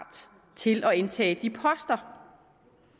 til at indtage de poster